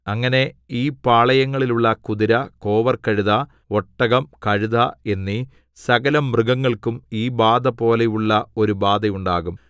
അങ്ങനെ ഈ പാളയങ്ങളിലുള്ള കുതിര കോവർകഴുത ഒട്ടകം കഴുത എന്നീ സകലമൃഗങ്ങൾക്കും ഈ ബാധപോലെയുള്ള ഒരു ബാധയുണ്ടാകും